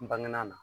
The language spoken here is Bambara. N bangena na